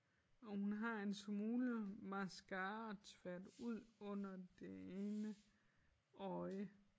Og hun har en smule mascara tværet ud under det ene øje